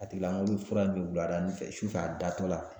A tigilamɔgɔ bɛ fura min wuladanin fɛ sufɛ a datola